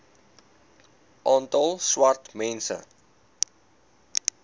aantal swart mense